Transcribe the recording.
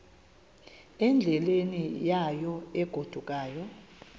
endleleni yayo egodukayo